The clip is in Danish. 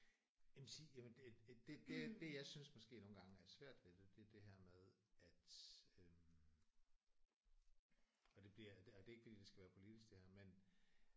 Jamen sige jamen det det det jeg synes måske nogle gange er svært ved det det er det her med at øh og det bliver og det er ikke fordi det skal politisk det her